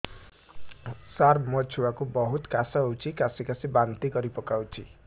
ସାର ମୋ ଛୁଆ କୁ ବହୁତ କାଶ ହଉଛି କାସି କାସି ବାନ୍ତି କରି ପକାଉଛି